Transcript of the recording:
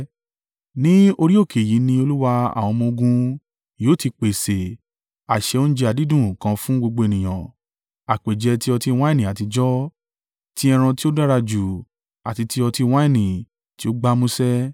Ní orí òkè yìí ni Olúwa àwọn ọmọ-ogun yóò ti pèsè àsè oúnjẹ àdídùn kan fún gbogbo ènìyàn àpèjẹ ti ọtí wáìnì àtijọ́ ti ẹran tí ó dára jù àti ti ọtí wáìnì tí ó gbámúṣé.